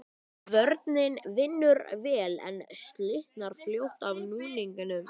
Kvörnin vinnur vel, en slitnar fljótt af núningnum.